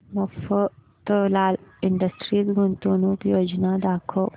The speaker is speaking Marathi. मफतलाल इंडस्ट्रीज गुंतवणूक योजना दाखव